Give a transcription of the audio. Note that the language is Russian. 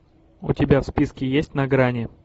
у тебя в списке есть на грани